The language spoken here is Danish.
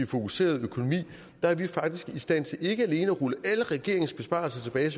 fokuserede økonomi er vi faktisk i stand til ikke alene at rulle alle regeringens besparelser tilbage